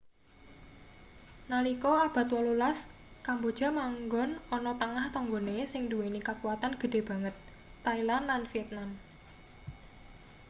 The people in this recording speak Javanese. nalika abad 18 kamboja manggon ana tengah tanggane sing nduweni kakuwatan gedhe banget thailand lan vietnam